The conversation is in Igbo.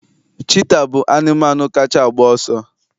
Cheetah bụ anụmanụ kacha agba ọsọ